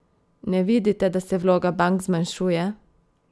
Ne vidite, da se vloga bank zmanjšuje?